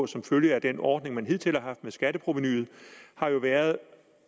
som følge af den ordning man hidtil har haft med skatteprovenuet har jo været